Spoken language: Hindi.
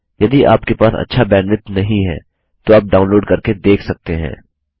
यदि आपके पास अच्छा बैंडविड्थ नहीं है तो आप डाउनलोड करके देख सकते हैं